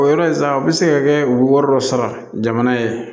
O yɔrɔ in sa a bɛ se ka kɛ u bɛ wari dɔ sara jamana ye